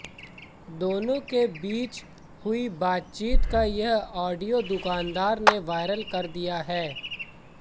दोनों के बीच हुई बातचीत का यह ऑडियो दुकानदार ने वायरल कर दिया है